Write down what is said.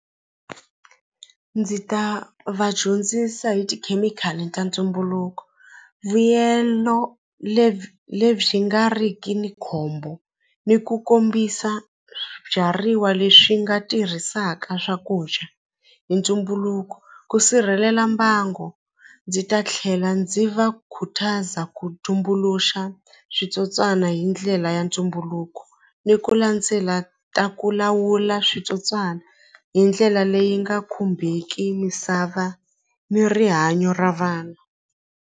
Ndzi ta va dyondzisa hi tikhemikhali ta ntumbuluko vuyelo lebyi nga riki na khombo ni ku kombisa swibyariwa leswi nga tirhisaka swakudya hi ntumbuluko ku sirhelela mbango ndzi ta tlhela ndzi va khutaza ku tumbuluxa switsotswana hi ndlela ya ntumbuluko ni ku landzela ta ku lawula switsotswana hi ndlela leyi nga khumbeki misava ni rihanyo ra vana.